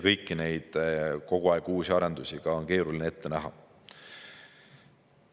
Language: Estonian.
Kogu aeg uusi arendusi on ka keeruline ette näha.